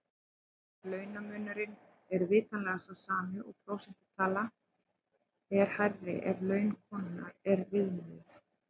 Launamunurinn er vitanlega sá sami en prósentutalan er hærri ef laun konunnar er viðmiðið.